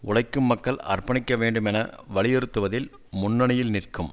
உழைக்கும் மக்கள் அர்ப்பணிக்க வேண்டும் என வலியுறுத்துவதில் முன்னணியில் நிற்கும்